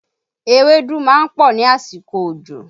Ewédú máa ń pọ̀ ní àsìkò òjò